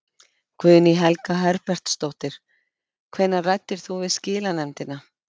Guðný Helga Herbertsdóttir: Hvenær ræddirðu við skilanefndina?